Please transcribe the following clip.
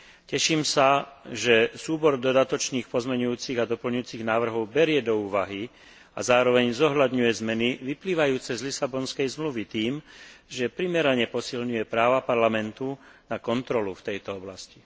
Teším sa, že súbor dodatočných pozmeňujúcich a doplňujúcich návrhov berie do úvahy a zároveň zohľadňuje zmeny vyplývajúce z Lisabonskej zmluvy tým, že primerane posilňuje práva Parlamentu na kontrolu v tejto oblasti.